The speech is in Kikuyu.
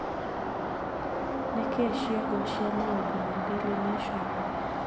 Nĩ kĩĩ ciongo cia maũndũ ma daily nation